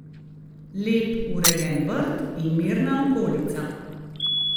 Lep, urejen vrt in mirna okolica.